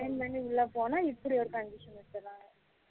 sign பண்ணி உள்ள போனா இப்படி ஒரு condition வச்சுராங்க